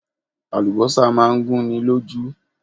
Àlùbọ́sà máa ń gún ni lójú.